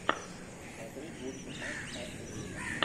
смотреть лучший матч астон вилла